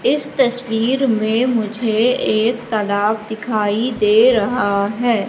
इस तस्वीर में मुझे एक तालाब दिखाई दे रहा है।